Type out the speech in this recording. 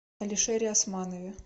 алишере османове